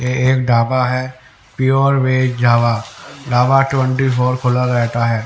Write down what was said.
ये एक डाबा है pure veg Java dhaba twenty four खुला रहता है।